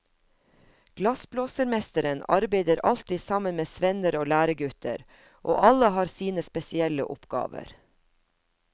Glassblåsermesteren arbeider alltid sammen med svenner og læregutter, og alle har sine spesielle oppgaver.